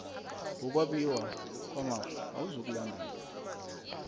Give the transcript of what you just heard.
wokwabiwa kwamafa awuzukulandelwa